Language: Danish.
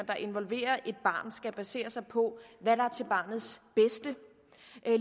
der involverer et barn skal basere sig på hvad der er til barnets bedste